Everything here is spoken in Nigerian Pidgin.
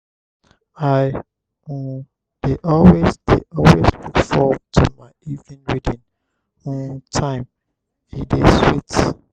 i um dey always dey always look forward to my evening reading um time; e dey sweet.